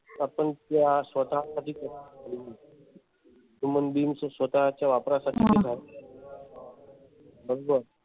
आपण त्या बघिल्यात human being च्या स्वतः च्या वापरासाठी होतात बघजो.